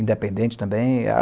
independente também. E a